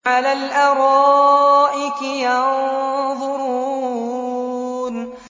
عَلَى الْأَرَائِكِ يَنظُرُونَ